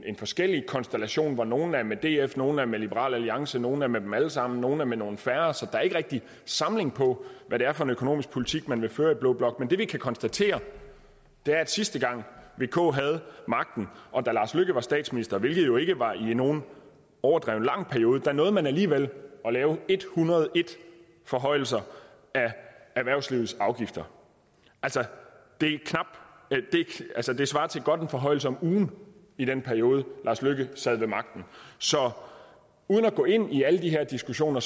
en forskellig konstellation hvor nogle er med df nogle er med liberal alliance nogle er med dem alle sammen nogle er med nogle færre så der er ikke rigtig samling på hvad det er for en økonomisk politik man vil føre i blå blok men det vi kan konstatere er at sidste gang vk havde magten og da lars løkke rasmussen var statsminister hvilket jo ikke var i nogen overdreven lang periode nåede man alligevel at lave en hundrede og en forhøjelser af erhvervslivets afgifter det svarer til godt en forhøjelse om ugen i den periode lars løkke sad ved magten så uden at gå ind i alle de her diskussioner